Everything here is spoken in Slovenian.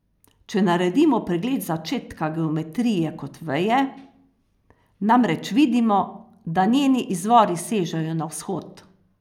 Če naredimo pregled začetka geometrije kot veje, namreč vidimo, da njeni izvori sežejo na Vzhod.